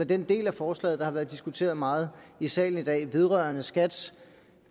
den del af forslaget der har været diskuteret meget i salen i dag vedrørende skats